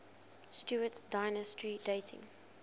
stuart dynasty dating